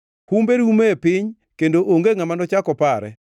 Humbe rumo e piny; kendo onge ngʼama nochak opare.